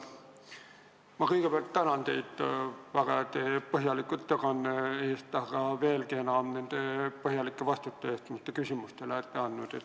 Ma kõigepealt tänan teid väga põhjaliku ettekande eest, aga veelgi enam nende põhjalike vastuste eest, mis te küsimustele olete andnud.